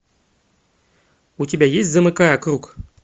у тебя есть замыкая круг